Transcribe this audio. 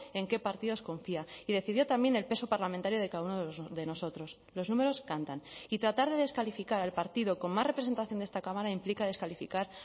en qué partidos confía y decidió también el peso parlamentario de cada uno de nosotros los números cantan y tratar de descalificar al partido con más representación de esta cámara implica descalificar